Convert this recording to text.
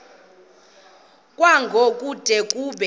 kwango kude kube